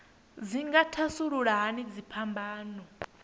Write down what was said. dzi nga thasulula hani dziphambano